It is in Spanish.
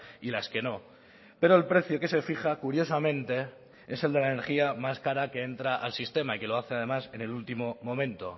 y las que no pero el precio que se fija curiosamente es el de la energía más cara que entra al sistema y que lo hace además en el último momento